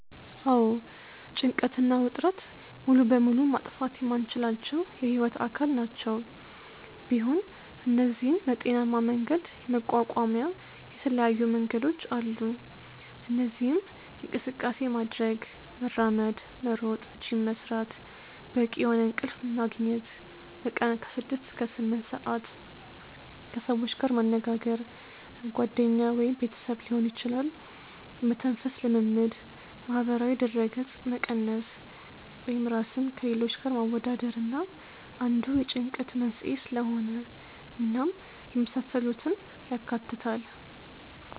አዎ ጭንቀት እና ውጥረት ሙሉ በሙሉ ማጥፋት የማንችላቸው የህይወት አካል ናቸው፤ ቢሆን እነዚህን በጤናሜ መንገድ የመቋቋሚያ የተለያዩ መንገዶች አሉ። እነዚህም እንቅስቃሴ ማድረግ( መራመድ፣ መሮጥ፣ ጂም መስራት)፣ በቂ የሆነ እንቅልፍ መግኘት( በቀን ከ6-8ሰአት)፣ ከሰዎች ጋር መነጋገር( ጓደኛ ወይም ቤተሰብ ሊሆን ይችላል)፣ የመተንፈስ ልምምድ፣ ማህበራዊ ድረገጽ መቀነስ( ራስን ከሌሎች ጋር ማወዳደር አንዱ የጭንቀት መንስኤ ስለሆነ) እናም የመሳሰሉትን ያካትታል።